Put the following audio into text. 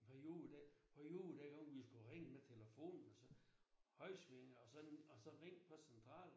På ??? den på ??? dengang vi skulle ringe med telefon og så højre sving og så og så ringe på central